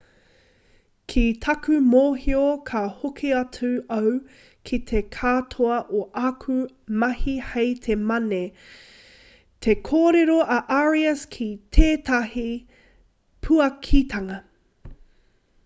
ki taku mōhio ka hoki atu au ki te katoa o āku mahi hei te mane te korero a arias ki tētahi puakitanga